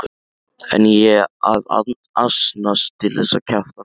En ég að asnast til að kjafta frá.